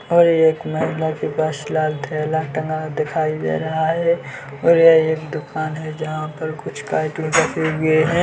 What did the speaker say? और एक थैला टंगा दिखाई दे रहा है और यह एक दूकान है जहां पर कुछ कार्टून रखे हुए है।